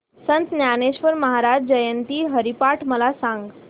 संत ज्ञानेश्वर महाराज जयंती हरिपाठ मला सांग